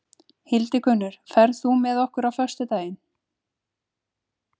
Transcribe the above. Hildigunnur, ferð þú með okkur á föstudaginn?